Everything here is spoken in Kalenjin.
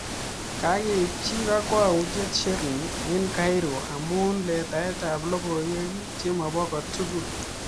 Kakeipchii kakwautiet sherine eng Cairo amuu letai ap logoiwek cheomopo kotugul